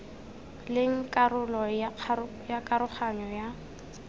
leng karolo ya karoganyo ya